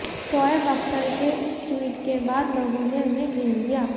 शोएब अख्तर के इस ट्वीट के बाद लोगों ने उन्हें घेर लिया